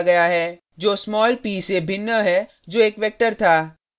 जो small p से भिन्न है जो एक वेक्टर था